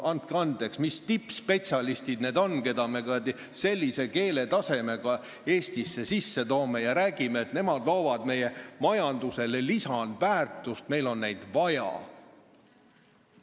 " Andke andeks, mis tippspetsialistid need on, keda me sellise keeletasemega Eestisse sisse toome ja siis räägime, et nemad loovad meie majandusele lisandväärtust, et meil on neid vaja!